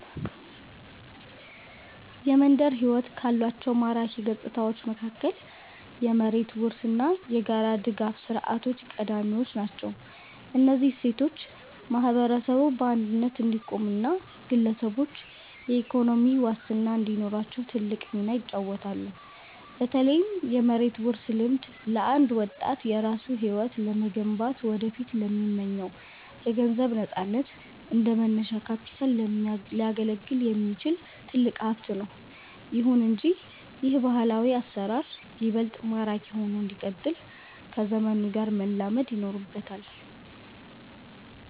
የመንደር ሕይወት ካሏቸው ማራኪ ገጽታዎች መካከል የመሬት ውርስ እና የጋራ ድጋፍ ሥርዓቶች ቀዳሚዎቹ ናቸው። እነዚህ እሴቶች ማህበረሰቡ በአንድነት እንዲቆምና ግለሰቦችም የኢኮኖሚ ዋስትና እንዲኖራቸው ትልቅ ሚና ይጫወታሉ። በተለይም የመሬት ውርስ ልምድ፣ ለአንድ ወጣት የራሱን ሕይወት ለመገንባትና ወደፊት ለሚመኘው የገንዘብ ነፃነት እንደ መነሻ ካፒታል ሊያገለግል የሚችል ትልቅ ሀብት ነው። ይሁን እንጂ ይህ ባህላዊ አሰራር ይበልጥ ማራኪ ሆኖ እንዲቀጥል ከዘመኑ ጋር መላመድ ይኖርበታል።